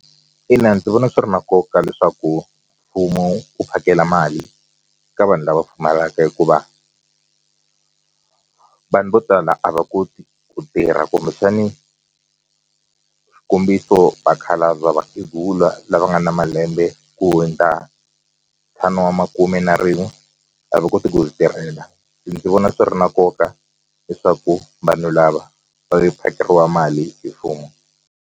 Ina, ndzi vona swi ri na nkoka leswaku mfumo wu phakela mali ka vanhu lava pfumalaka hikuva vanhu vo tala a va koti ku tirha kumbexani xikombiso vakhalabya va vakhegula lava nga na malembe ku hundza ntlhanu wa makume na rin'we a va koti ku ti tirhela ndzi vona swi ri na nkoka leswaku vanhu lava va phakeriwa mali hi mfumo.